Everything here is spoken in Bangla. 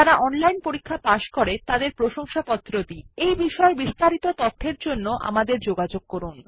যারা অনলাইন পরীক্ষা পাস করে তাদের প্রশংসাপত্র দি এই বিষয় বিস্তারিত তথ্যের জন্য আমাদের যোগাযোগ করুন